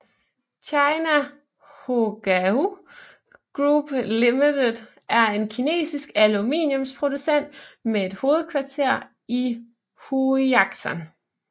China Hongqiao Group Limited er en kinesisk aluminiumsproducent med hovedkvarter i Huixian